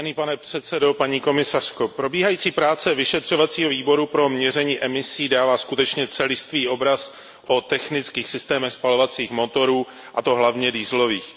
Pane předsedající, paní komisařko, probíhající práce vyšetřovacího výboru pro měření emisí dává skutečně celistvý obraz o technických systémech spalovacích motorů, a to hlavně dieselových.